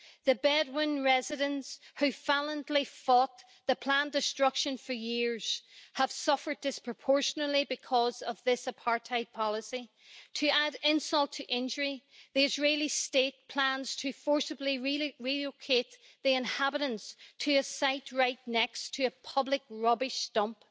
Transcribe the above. The Bedouin residents, who valiantly fought the planned destruction for years, have suffered disproportionately because of this apartheid policy. To add insult to injury, the Israeli State plans to forcibly relocate the inhabitants to a site right next to a public rubbish dump.